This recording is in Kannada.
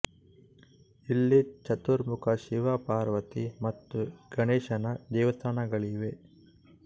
ಇಲ್ಲಿ ಚತುರ್ಮುಖ ಶಿವ ಪಾರ್ವತಿ ಮತ್ತು ಗಣೇಶ ನ ದೇವಸ್ಥಾನಗಳಿವೆ